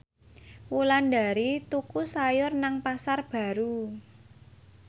Wulandari tuku sayur nang Pasar Baru